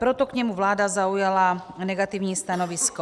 Proto k němu vláda zaujala negativní stanovisko.